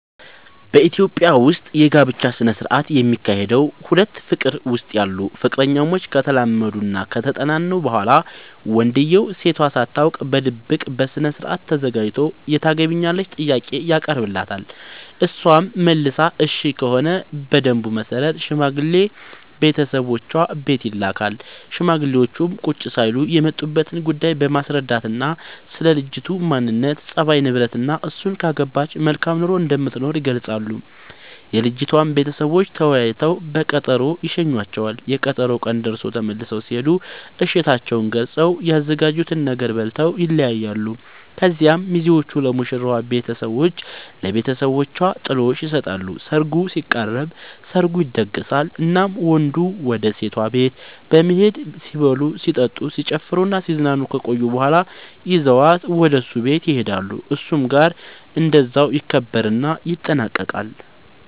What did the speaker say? በኢትዮጵያ ዉስጥ የጋብቻ ስነ ስርዓት የሚካሄደዉ ሁለት ፍቅር ዉስጥ ያሉ ፍቅረኛሞች ከተላመዱናከተጠናኑ በኋላ ወንድዬው ሴቷ ሳታውቅ በድብቅ በስርአት ተዘጋጅቶ የታገቢኛለሽ ጥያቄ ያቀርብላታል እሷም መልሷ እሽ ከሆነ በደንቡ መሰረት ሽማግሌ ቤተሰቦቿ ቤት ይልካል ሽማግሌዎቹም ቁጭ ሳይሉ የመጡበትን ጉዳይ በማስረዳትናስለ ልጅቱ ማንነት፣ ፀባይ፤ ንብረትናእሱን ካገባች መልካም ኑሮ እንደምትኖር ይገልጻሉ። የልጅቷም ቤተሰቦች ተወያይተው በቀጠሮ ይሸኙዋቸዋል፤ የቀጠሮው ቀን ደርሶ ተመልሰው ሲሄዱ እሽታቸውን ገልፀው፤ ያዘጋጁትን ነገር በልተው ይለያያሉ። ከዚያ ሚዜዎቹ ለሙሽራዋ ቤቷ ለብተሰቦቿ ጥሎሽ ይሰጣሉ ሰርጉ ሲቃረብ፤ ሰርጉ ይደገሳል እናም ወንዱ ወደ ሴቷ ቤት በመሄድ ሲበሉ ሲጠጡ፣ ሲጨፍሩናሲዝናኑ ከቆዩ በኋላ ይዟት ወደ እሱ ቤት ይሄዳሉ እሱም ጋር እንደዛው ይከበርና ይጠናቀቃል